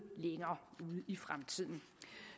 længere ude i fremtiden